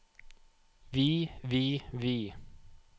vi vi vi